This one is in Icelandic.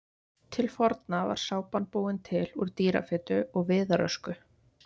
Til forna var sápan búin til úr dýrafitu og viðarösku.